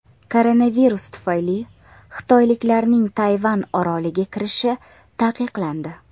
Koronavirus tufayli xitoyliklarning Tayvan oroliga kirishi taqiqlandi.